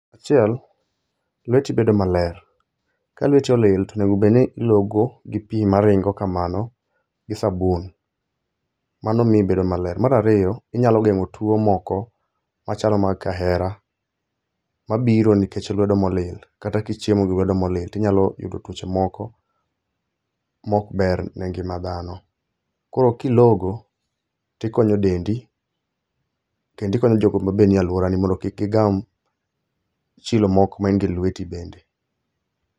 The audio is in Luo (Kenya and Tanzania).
Achiel, lweti bedo maler. Ka lweti olil to onegobedni ilogo gi pi maringo kamano gi sabun, mano mi ibedo maler. Marariyo, inyalo geng'o tuo moko machalo mag kaera, mabiro nikech lwedo molil kata kichiemo gi lwedo molil. Inyalo yudo tuoche moko mokber ne ngima dhano. Ko kilogo tikonyo dendi kendikonyo jogo mabe nie alworani mondo kik gigam chilo moko main go e lweti bende.